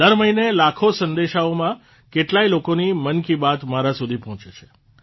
દરમહિને લાખો સંદેશાઓમાં કેટલાય લોકોની મન કી બાત મારા સુધી પહોંચે છે